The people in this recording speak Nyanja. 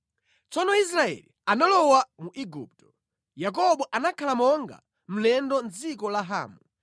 Tsono Israeli analowa mu Igupto; Yakobo anakhala monga mlendo mʼdziko la Hamu.